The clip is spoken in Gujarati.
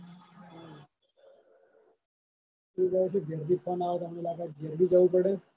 બે દહાડા થી ઘેર થી phone આવે તો હમણાં લાગાવત ઘેર બી જાવું પડે.